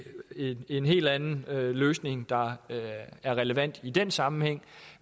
en helt anden løsning der er relevant i den sammenhæng